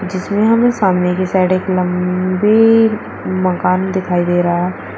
जिसमे हमें सामने की साइड एक लंबी मकान दिखाई दे रहा है।